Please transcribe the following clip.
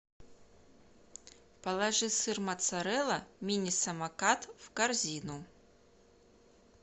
положи сыр моцарелла мини самокат в корзину